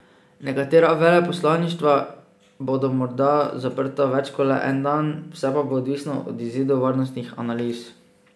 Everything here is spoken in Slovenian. Nekatera veleposlaništva bodo morda zaprta več kot le en dan, vse pa bo odvisno od izidov varnostnih analiz.